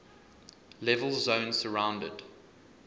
level zone surrounded